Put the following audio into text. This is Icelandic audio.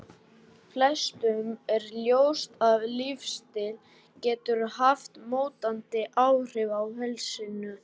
Flestum er ljóst að lífsstíll getur haft mótandi áhrif á heilsuna.